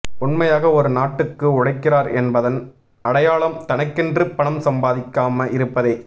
உண்மையாக ஒரு நாட்டுக்கு உழைக்கிறார் என்பதன் அடையாளம் தனக்கென்று பணம் சம்பாதிக்காம இருப்பதே